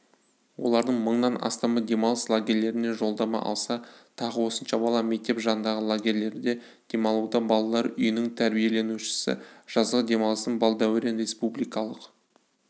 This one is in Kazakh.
олардың мыңнан астамы демалыс лагерлеріне жолдама алса тағы осынша бала мектеп жанындағы лагерьлерде демалуда балалар үйінің тәрбиеленушісі жазғы демалысын балдәурен республикалық